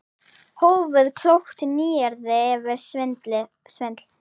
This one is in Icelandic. Hófið- Klókt nýyrði yfir svindl?